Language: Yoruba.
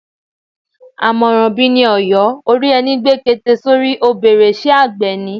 Àmọ̀ràn bi ni Ọ̀yọ́, ó rí ẹni gbé kete sórí, ó bèrè Ṣé àgbẹ̀ ni?